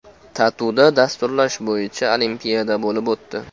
TATUda dasturlash bo‘yicha olimpiada bo‘lib o‘tdi.